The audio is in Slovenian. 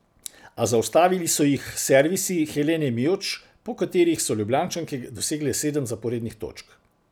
A zaustavili so jih servisi Helene Mijoč, po katerih so Ljubljančanke dosegle sedem zaporednih točk.